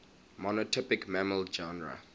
monotypic mammal genera